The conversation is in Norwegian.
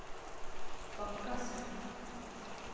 Bakkasund